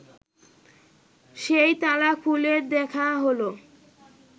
সেই তালা খুলে দেখা হল